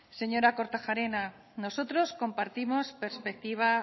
señora kortajarena nosotros compartimos perspectiva